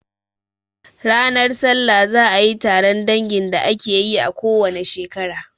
Ranar salla za a yi taron dangin da ake yi a ko wane shekara.